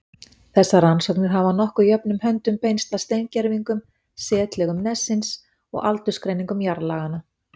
Þessar rannsóknir hafa nokkuð jöfnum höndum beinst að steingervingum, setlögum nessins og aldursgreiningum jarðlaganna.